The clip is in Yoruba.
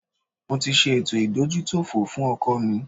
Mo ṣe ètò ìdójútòfò fún ọkọ̀ mi